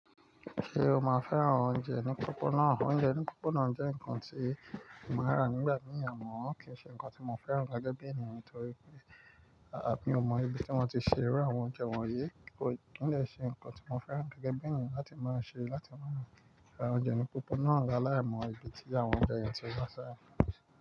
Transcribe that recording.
Ṣé o máa fẹ́ran oúnjẹ ní pópónà? Oúnjẹ ní pópónà jẹ́ nǹkan tí mo máa rà nígbà míì àmọ́ kì í ṣe nǹkan tí mo fẹ́ran gẹ́gẹ́ bí ènìyàn torí pé, àbí mo mọ ibi tí wọ́n ti ṣe irú àwọn oúnjẹ wọ̀nyí, kò ì ní lẹ́ ṣe nǹkan tí mo fẹ́ran gẹ́gẹ́ bí ènìyàn láti máa ṣe, láti máa ra oúnjẹ ní pópóná lálaimo ibi tí àwọn oúnjẹ yẹn ti wá sá.